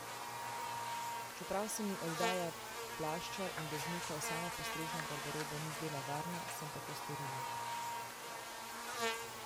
Čeprav se mi oddaja plašča in dežnika v samopostrežno garderobo ni zdela varna, sem tako storila.